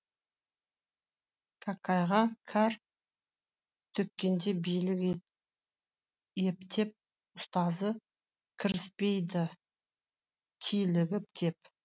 кәкәйға кәр төккенде билік ептеп ұстазы кіріспейді килігіп кеп